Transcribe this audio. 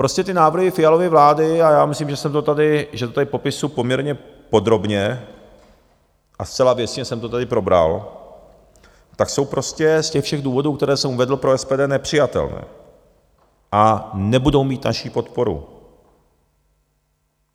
Prostě ty návrhy Fialovy vlády, a já myslím, že to tady popisuji poměrně podrobně a zcela věcně jsem to tady probral, tak jsou prostě z těch všech důvodů, které jsem uvedl, pro SPD nepřijatelné a nebudou mít naši podporu.